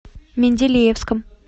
менделеевском